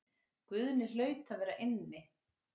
Guðni hlaut að vera inni.